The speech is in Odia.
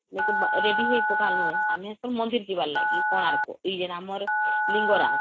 ନେକି ready ହେଇ ପକାଳୁ ଆମେ ତ ମନ୍ଦିର ଯିବାର ଲାଗି କୋଣାର୍କ ଏଇ ଯେ ଆମର ଲିଙ୍ଗରାଜ